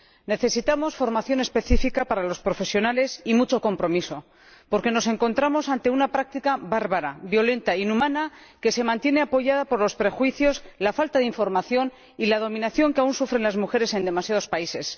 Necesitamos formación específica para los profesionales y mucho compromiso, porque nos encontramos ante una práctica bárbara, violenta, inhumana que se mantiene apoyada por los prejuicios, la falta de información y la dominación que aún sufren las mujeres en demasiados países.